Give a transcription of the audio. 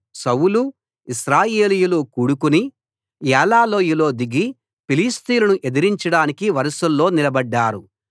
సౌలు ఇశ్రాయేలీయులు కూడుకుని ఏలా లోయలో దిగి ఫిలిష్తీయులను ఎదిరించడానికి వరుసల్లో నిలబడ్డారు